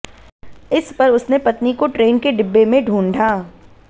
इस पर उसने पत्नी को ट्रेन के डिब्बे में ढूंढ़ा